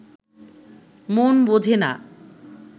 মন বোঝে না